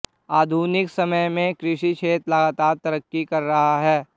आधुनिक समय में कृषि क्षेत्र लगातार तरक्की कर रहा है